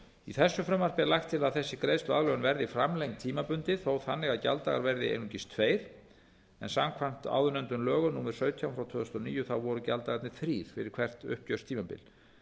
í þessu frumvarpi er lagt til að þessi greiðsluaðlögun verði framlengd tímabundið þó þannig að gjalddagar verði einungis tveir en samkvæmt lögum númer sautján tvö þúsund og níu voru gjalddagarnir þrír fyrir hvert uppgjörstímabil